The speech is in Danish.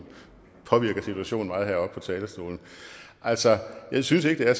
påvirker situationen meget heroppe på talerstolen altså jeg synes ikke at